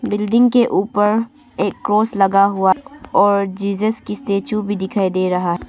Building के ऊपर एक क्रॉस लगा हुआ और जीजस की स्टैचू भी दिखाई दे रहा।